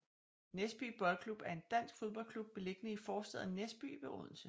Næsby Boldklub er en dansk fodboldklub beliggende i forstaden Næsby ved Odense